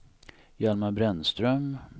Hjalmar Brännström